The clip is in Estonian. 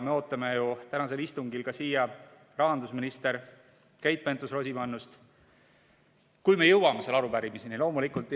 Me ootame ju tänasel istungil siia rahandusminister Keit Pentus-Rosimannust, kui me jõuame selle arupärimiseni loomulikult.